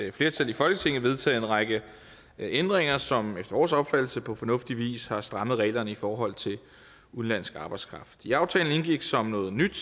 et flertal i folketinget vedtaget en række ændringer som efter vores opfattelse på fornuftig vis har strammet reglerne i forhold til udenlandsk arbejdskraft i aftalen indgik som noget nyt